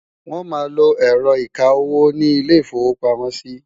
wón má ló ẹrọ ìká owó ní ilè ifowo pàmò sí